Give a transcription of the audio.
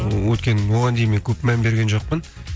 өйткені оған дейін мен көп мән берген жоқпын